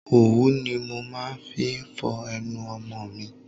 Òwú ni mo máa ń fi ń fọ ẹnu ọmọ mi.